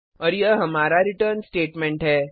और यह हमारा रिटर्न स्टेटमेंट है